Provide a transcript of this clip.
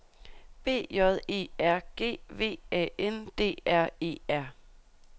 B J E R G V A N D R E R